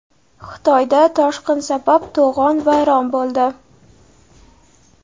Xitoyda toshqin sabab to‘g‘on vayron bo‘ldi.